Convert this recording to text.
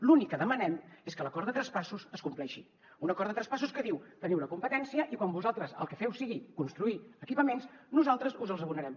l’únic que demanem és que l’acord de traspassos es compleixi un acord de traspassos que diu teniu la competència i quan vosaltres el que feu sigui construir equipaments nosaltres us els abonarem